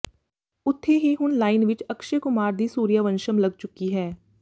ਉੱਥੇ ਹੀ ਹੁਣ ਲਾਈਨ ਵਿੱਚ ਅਕਸ਼ੇ ਕੁਮਾਰ ਦੀ ਸੂਰਿਆਵੰਸ਼ਮ ਲੱਗ ਚੁੱਕੀ ਹੈ